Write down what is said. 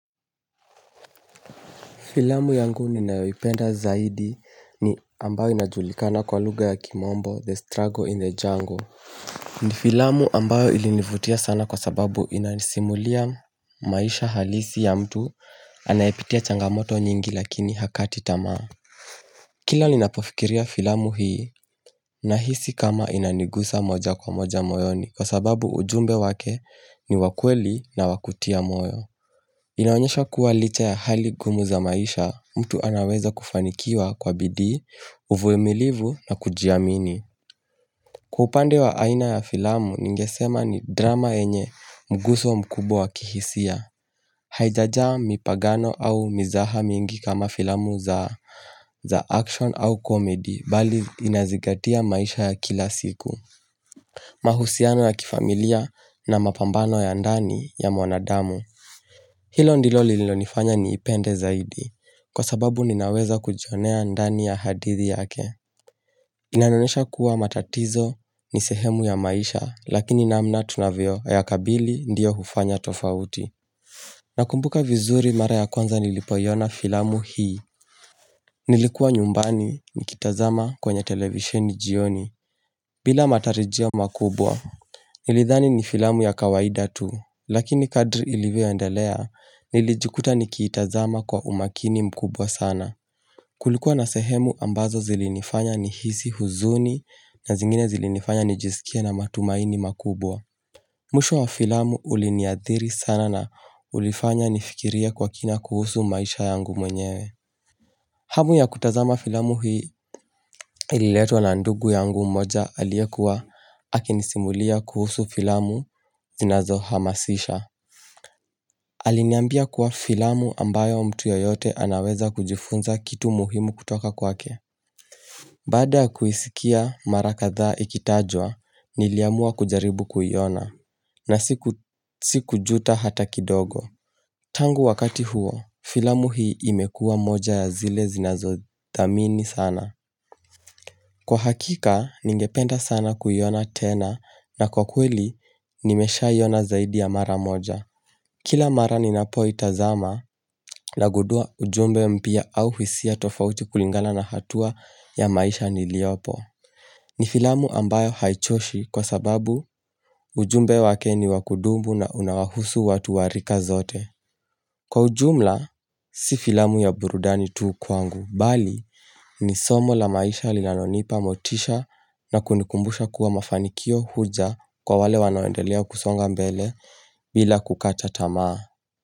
Filamu yangu ninayoipenda zaidi ni ambayo inajulikana kwa lugha ya kimombo, The Struggle in the Jungle. Ni filamu ambayo ilinivutia sana kwa sababu inanisimulia maisha halisi ya mtu anayepitia changamoto nyingi lakini hakati tamaa. Kila ninapofikiria filamu hii na hisi kama inanigusa moja kwa moja moyoni kwa sababu ujumbe wake ni wakweli na wakutia moyo. Inaonyesha kuwa licha ya hali ngumu za maisha mtu anaweza kufanikiwa kwa bidii, uvumilivu na kujiamini. Kwa upande wa aina ya filamu ningesema ni drama yenye mguso mkubwa kihisia. Haijajaa mipagano au mizaha mingi kama filamu za action au komedi bali inazingatia maisha ya kila siku. Mahusiano ya kifamilia na mapambano ya ndani ya mwanadamu. Hilo ndilo lilo nifanya ni ipende zaidi. Kwa sababu ninaweza kujionea ndani ya hadithi yake Inanionesha kuwa matatizo ni sehemu ya maisha Lakini namna tunavyo yakabili ndiyo hufanya tofauti Nakumbuka vizuri mara ya kwanza nilipoiona filamu hii Nilikuwa nyumbani nikitazama kwenye televisheni jioni bila matarijio makubwa Nilidhani ni filamu ya kawaida tu Lakini kadri ilivyo endelea Nilijikuta nikiitazama kwa umakini mkubwa sana Kulikuwa na sehemu ambazo zilinifanya ni hisi huzuni na zingine zilinifanya nijisikie na matumaini makubwa. Mwisho wa filamu uliniathiri sana na ulifanya nifikirie kwa kina kuhusu maisha yangu mwenyewe. Hamu ya kutazama filamu hii ililetwa na ndugu yangu mmoja aliekuwa aki nisimulia kuhusu filamu zinazo hamasisha. Aliniambia kwa filamu ambayo mtu ya yote anaweza kujifunza kitu muhimu kutoka kwake. Baada kuisikia mara kadhaa ikitajwa, niliamua kujaribu kuiona na sikujuta hata kidogo. Tangu wakati huo, filamu hii imekua moja ya zile zinazodhamini sana. Kwa hakika, ningependa sana kuiona tena na kwa kweli, nimeshaiona zaidi ya mara moja. Kila mara ninapoitazama na gundua ujumbe mpya au hisia tofauti kulingalana na hatua ya maisha niliopo. Ni filamu ambayo haichoshi kwa sababu ujumbe wake ni wakudumu na unawahusu watu wa rika zote. Kwa ujumla, si filamu ya burudani tu kwangu. Bali, ni somo la maisha linalo nipa motisha na kunikumbusha kuwa mafanikio huja kwa wale wanoendelea kusonga mbele bila kukata tamaa.